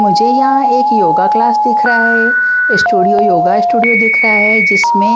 मुझे यहां एक योगा क्लास दिख रहा है स्टूडियो योगा स्टूडियो दिख रहा है जिसमें--